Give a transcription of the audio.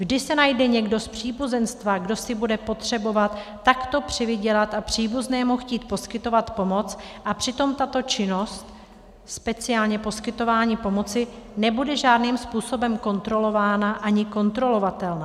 Vždy se najde někdo z příbuzenstva, kdo si bude potřebovat takto přivydělat a příbuznému chtít poskytovat pomoc, a přitom tato činnost speciálně poskytované pomoci nebude žádným způsobem kontrolována ani kontrolovatelná.